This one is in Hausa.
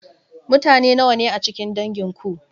Mutane nawa ne a cikin dangin ku?